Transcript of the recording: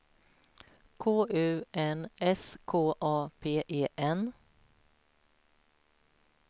K U N S K A P E N